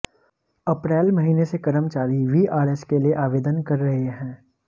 अप्रैल महीने से कर्मचारी वीआरएस के लिए आवेदन कर रहे हैं